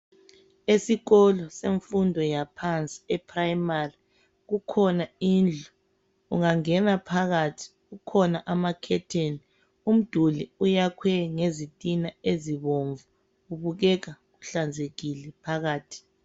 Esikolo semfundo yaphansi eprimary kukhona indlu, ungangena phakathi kukhona amakhetheni. Umduli uyakhwe ngezitina ezibomvu, kubukeka kuhlanzekile phakathi.